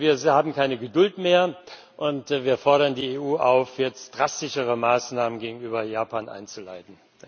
Wir haben keine Geduld mehr, und wir fordern die EU auf, jetzt drastischere Maßnahmen gegenüber Japan einzuleiten!